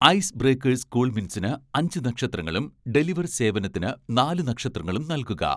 ice breakers കൂൾമിന്റ്സിന് അഞ്ച് നക്ഷത്രങ്ങളും, ഡെലിവർ സേവനത്തിന് നാലു നക്ഷത്രങ്ങളും നൽകുക